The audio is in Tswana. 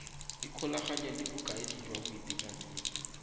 ikgolaganye le bokaedi jwa boitekanelo